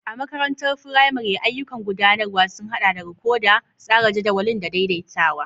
A makarantar firamare, ayyukan gudanarwa sun haɗa da rikodi, tsara jadawalin, da daidaitawa.